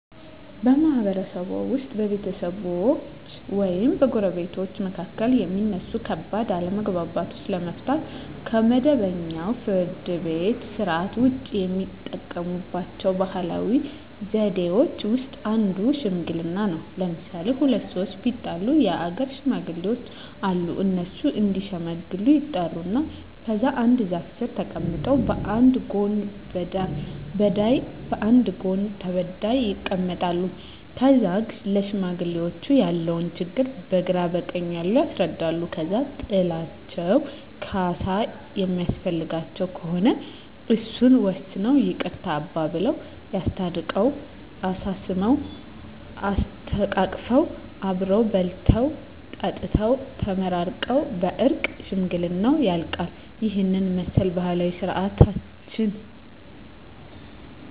በማህበረሰብዎ ውስጥ በቤተሰቦች ወይም በጎረቤቶች መካከል የሚነሱ ከባድ አለመግባባቶችን ለመፍታት (ከመደበኛው የፍርድ ቤት ሥርዓት ውጪ) የሚጠቀሙባቸው ባህላዊ ዘዴዎች ውስጥ አንዱ ሽምግልና ነው። ለምሣሌ፦ ሁለት ሠዎች ቢጣሉ የአገር ሽማግሌዎች አሉ። እነሱ እዲሸመግሉ ይጠሩና ከዛ አንድ ዛፍ ስር ተቀምጠው በአንድ ጎን በዳይ በአንድ ጎን ተበዳይ ይቀመጣሉ። ከዛ ለሽማግሌዎች ያለውን ችግር በግራ በቀኝ ያሉት ያስረዳሉ። ከዛ ጥላቸው ካሣ የሚያስፈልገው ከሆነ እሱን ወስነው ይቅርታ አባብለው። አስታርቀው፤ አሳስመው፤ አሰተቃቅፈው አብረው በልተው ጠጥተው ተመራርቀው በእርቅ ሽምግልናው ያልቃ። ይህንን ይመስላል ባህላዊ ስርዓታችን።